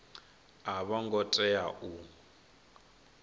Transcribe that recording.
a vho ngo tea u